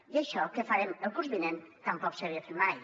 i això que farem el curs vinent tampoc s’havia fet mai